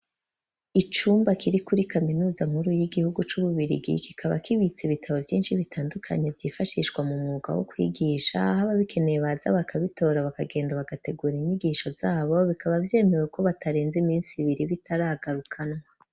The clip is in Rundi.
Icumba, kiri kuri kaminuza nkuru, y'igihugu c'Ububirigi, kikaba kibitse ibitabo vyinshi, bitandukanye, vyifashishwa mu mwuga, wo kwigisha; aho ababikeneye, baza bakabitora, bakagenda, bagategura inyigisho zabo; bikaba vyemewe ko, batarenze iminsi ibiri, bitaragarukanwa.